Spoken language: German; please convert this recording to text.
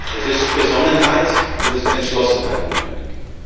Es ist Besonnenheit und es ist Entschlossenheit notwendig.